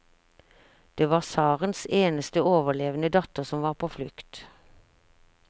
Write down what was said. Det var tsarens eneste overlevende datter som var på flukt.